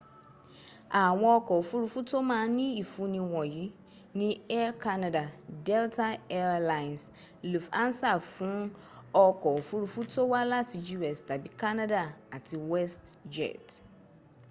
àwọn ọks òfurufù tó mań ní ìfúni wọ̀nyí ní air canada delta air lines lufhansa fún ọkọ́ òfurufú tó wá láti u.s tàbí canada àti westjet